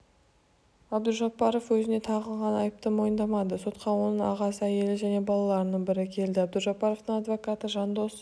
абдужаббаров өзіне тағылған айыпты мойындамады сотқа оның ағасы әйелі және балаларының бірі келді абдужаббаровтың адвокаты жандос